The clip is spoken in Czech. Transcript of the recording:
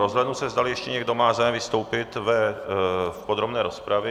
Rozhlédnu se, zdali ještě někdo má zájem vystoupit v podrobné rozpravě.